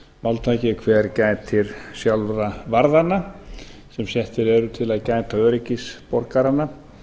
máltæki hver gætir sjálfra varðanna sem settir eru til að gæta öryggis borgaranna